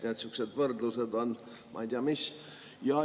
Nii et sihukesed võrdlused on, ma ei tea, mis.